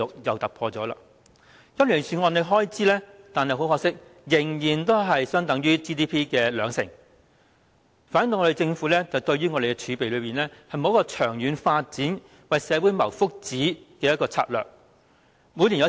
可是，很可惜，今年預算案的公共開支卻仍然只相等於 GDP 的兩成，反映政府對儲備並無長遠發展及為社會謀福祉的策略。